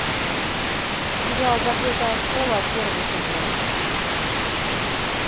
сериал закрытая школа первый сезон